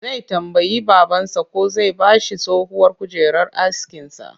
Zai tambayi babansa ko zai ba shi tsohuwar kujerar askinsa